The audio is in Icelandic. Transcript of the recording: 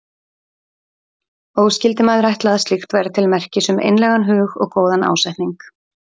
Og skyldi maður ætla að slíkt væri til merkis um einlægan hug og góðan ásetning.